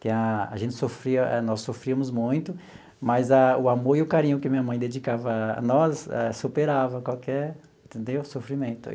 que a a gente sofria, nós sofríamos muito, mas a o amor e o carinho que minha mãe dedicava a nós superava qualquer entendeu sofrimento.